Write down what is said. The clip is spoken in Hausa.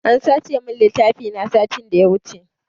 An sace min littafi na satin da ya wuce.